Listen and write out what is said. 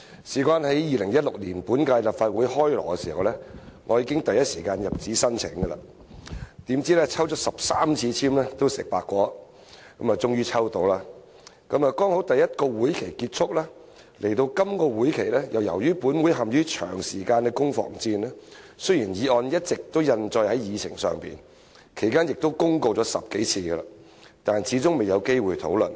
在2016年本屆立法會"開鑼"時，我第一時間入紙申請，怎料抽了13次籤也"食白果"，終於抽中了，剛好第一個會期結束；來到這個會期，由於本會陷於長時間的攻防戰，雖然議案一直印載在議程上，其間亦公告了10多次，但始終未有機會討論。